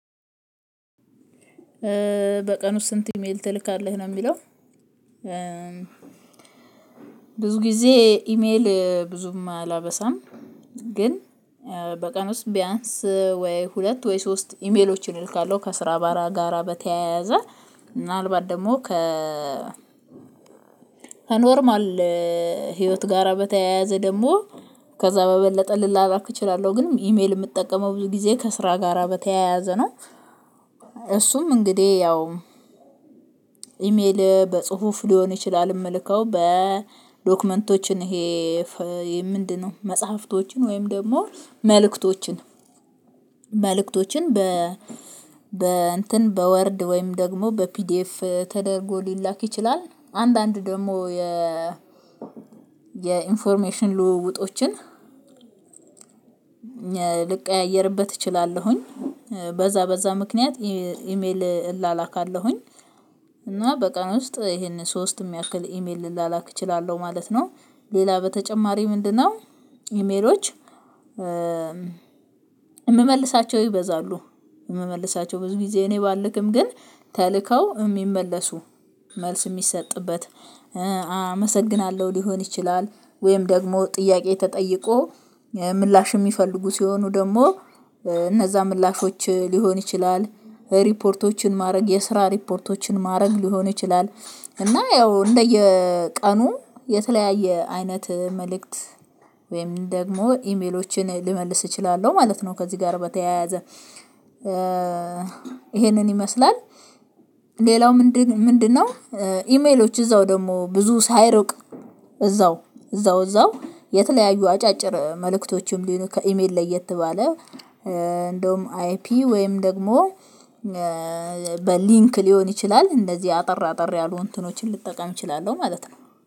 በቀን ውስጥ ስንት ኢሜል ትልካለህ ነው የሚለው? ብዙ ጊዜ ኢሜል ብዙም አላበሳም። ግን በቀን ውስጥ ቢያንስ ወይ ሁለት ወይ ሶስት ኢሜሎችን እልካለሁ ከስራ ባራ ጋራ በተያያዘ ምናልባት ደግሞ ከ ከኖርማል ህይወት ጋራ በተያያዘ ደግሞ ከዛ በበለጠ ልላራክ እችላለሁ ግን ኢሜል የምጠቀመው ብዙ ጊዜ ከስራ ጋራ በተያያዘ ነው። እሱም እንግዲህ ያው ኢሜል በጽሁፍ ሊሆን ይችላል የምልከው በዶክመንቶችን ይሄ ምንድነው? መጽሐፍቶችን ወይም ደግሞ መልእክቶችን መልእክቶችን በ በ እንትን በወርድ ወይም ደግሞ በፒዲኤፍ ተደርጎ ሊላክ ይችላል። አንዳንድ ደግሞ የ የኢንፎርሜሽን ልውውጦችን ልቀያየርበት እችላለሁኝ። በዛ በዛ ምክንያት ኢሜል እላላካለሁኝ እና በቀን ውስጥ ይሄንን ሶስት የሚያክል ኢሜል ልላላክ እችላለሁ ማለት ነው። ሌላ በተጨማሪ ምንድነው? ኢሜሎች የምመልሳቸው ይበዛሉ። የምመልሳቸው ብዙ ጊዜ እኔ ባልክም ግን ተልከው የሚመለሱ መልስ የሚሰጥበት አመሰግናለሁ ሊሆን ይችላል ወይም ደግሞ ጥያቄ ተጠይቆ ምላሽ የሚፈልጉ ሲሆኑ ደግሞ እነዛ ምላሾች ሊሆን ይችላል። ሪፖርቶችን ማድረግ የስራ ሪፖርቶችን ማድረግ ሊሆን ይችላል። እና ያው እንደየቀኑ የተለያየ አይነት መልእክት ወይም ደግሞ ኢሜሎችን ልመልስ እችላለሁ ማለት ነው። ከዚህ ጋር በተያያዘ ይሄንን ይመስላል ሌላው ምንድነው? ኢሜሎች እዛው ደግሞ ብዙ ሳይርቅ እዛው እዛው እዛው እዛው የተለያዩ አጫጭር መልእክቶችም ከኢሜል ለየት ተባለ። እንደውም አይፒ ወይም ደግሞ በሊንክ ሊሆን ይችላል። እንደዚህ አጠር አጠር ያሉ እንትኖችን ልጠቀም እችላለሁ ማለት ነው